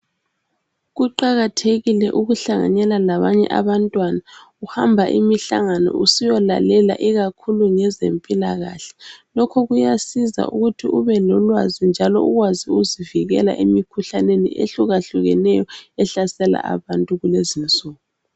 Kuqakathekile ukuhlanganela labanye abantwana uhamba imihlangano usiyo lalela ikakhulu ngezempilakahle lokho kuyanceda ukuthi ubelolwazi njalo ukwazi ukuzivikela emikhuhlaneni ehluka hlukeneyo ehlasela abantu kulezinsuku.